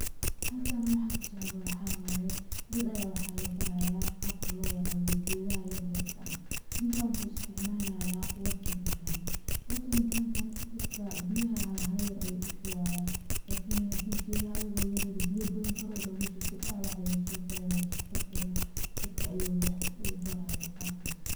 Halkaan waxa ka socdo waxa waye ,dad ayaa waxaa la barayaa qaabka loo waraabiyo gedaha yaryar ka ah . Ninkaan waxuu isticmalaya watering gun ,watering gun kaan biyaha hala hala yar ayuu u shubayaa lakini haddii gedaha ayagoo yaryar biya badan kor oga shubtid dhawac ayaa soo garaayo ,saas darteeda dadka ayaa waxuu u barayaa qabkaas.